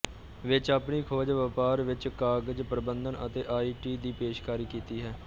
ਵਿੱਚ ਆਪਣੀ ਖੋਜ ਵਪਾਰ ਵਿਚ ਕਾਗਜ਼ ਪ੍ਰਬੰਧਨ ਅਤੇ ਆਈ ਟੀ ਦੀ ਪੇਸ਼ਕਾਰੀ ਕੀਤੀ ਹੈ